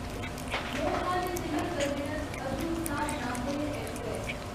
Lokmanya Tilak terminus Hazur Sahib Nanded express